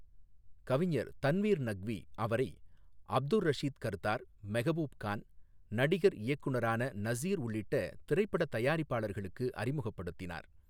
கவிஞர் தன்வீர் நக்வி அவரை அப்துர் ரஷீத் கர்தார், மெகபூப் கான், நடிகர் இயக்குனரான நசீர் உள்ளிட்ட திரைப்படத் தயாரிப்பாளர்களுக்கு அறிமுகப்படுத்தினார்.